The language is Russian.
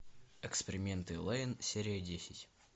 эксперименты лэйн серия десять